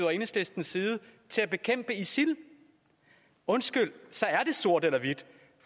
og enhedslistens side til at bekæmpe isil undskyld så er det sort eller hvidt